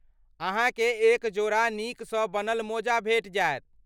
अहाँकेँ एक जोड़ा नीकसँ बनल मोजा भेटि जायत।